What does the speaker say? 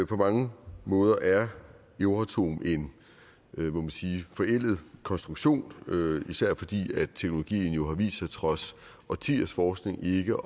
på mange måder er euratom en må man sige forældet konstruktion især fordi teknologien jo har vist sig trods årtiers forskning ikke